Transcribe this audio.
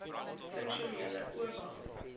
funksionele oba